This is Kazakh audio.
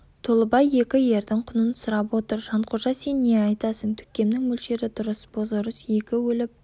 толыбай екі ердің құнын сұрап отыр жанқожа сен не айтасың төкемнің мөлшері дұрыс бозорыс екі өліп